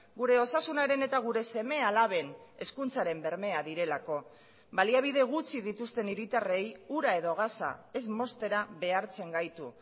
gure osasunaren eta gure seme alaben hezkuntzaren bermea direlako baliabide gutxi dituzten hiritarrei ura edo gasa ez moztera behartzen gaitu